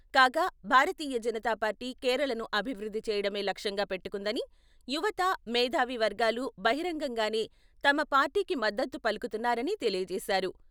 కాగా భారతీయ జనతా పార్టీ కేరళను అభివృద్ధి చేయడమే లక్ష్యంగా పెట్టుకుందిని, యువత, మేధావి వర్గాలు బహిరంగంగానే తమ పార్టీకి మద్దతు పలుకుతున్నారని తెలియజేశారు.